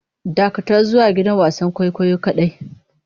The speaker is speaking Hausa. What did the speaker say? Dakatar zuwa gidan wasan kwaikwayo kadai!